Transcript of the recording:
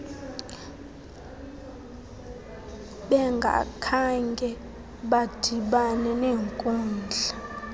bengakhange badibana nenkudla